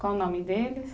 Qual o nome deles?